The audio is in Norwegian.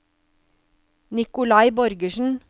Nikolai Borgersen